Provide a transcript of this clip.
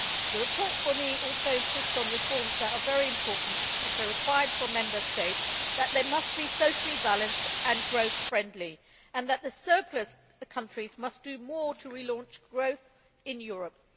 The report for me also insists on reforms that are very important, and which are required from Member States, that they must be socially-balanced and growth friendly and that the surplus countries must do more to re-launch growth in Europe.